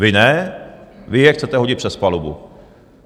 Vy ne, vy je chcete hodit přes palubu.